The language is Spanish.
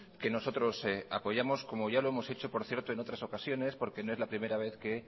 que nosotros apoyamos como ya lo hemos hecho por cierto en otras ocasiones porque no es la primera vez que